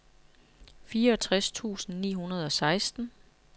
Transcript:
fireogtres tusind ni hundrede og seksten